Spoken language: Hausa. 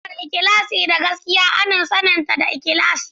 Siffar ikhlasi da gaskiya ana saninta da ikhlasi.